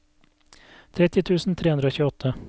tretti tusen tre hundre og tjueåtte